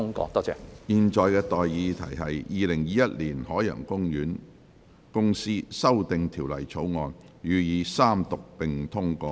我現在向各位提出的待議議題是：《2021年海洋公園公司條例草案》予以三讀並通過。